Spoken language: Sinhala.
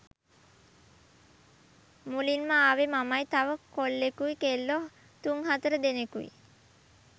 මුලින්ම ආවේ මමයි තව කොල්ලෙකුයි කෙල්ලෝ තුන් හතර දෙනෙකුයි.